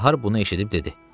Bahar bunu eşidib dedi: